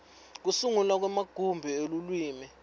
kusungulwa kwemagumbi elulwimi